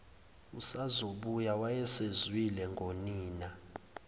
usazobuya wayesezwile ngonina